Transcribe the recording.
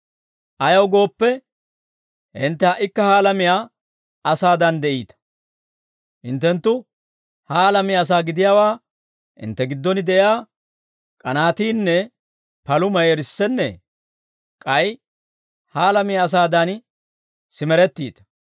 Ayaw gooppe, hintte ha"ikka ha alamiyaa asaadan de'iita. Hinttenttu ha alamiyaa asaa gidiyaawaa hintte giddon de'iyaa k'anaatiinne palumay erissennee? K'ay ha alamiyaa asaadan simerettiita.